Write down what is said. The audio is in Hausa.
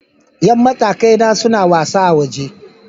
Yan matakai na suna wasa a waje.